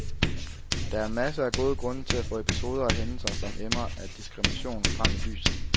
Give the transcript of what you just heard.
Der er masser af gode grunde til at få episoder og hændelser, som emmer af diskrimination, frem i lyset.